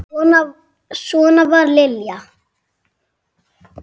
Svona var Lilja.